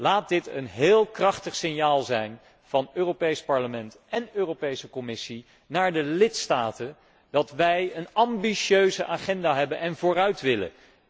Laat dit een heel krachtig signaal zijn van het Europees Parlement en de Commissie naar de lidstaten dat wij een ambitieuze agenda hebben en vooruit willen.